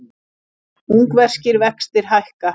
Ungverskir vextir hækka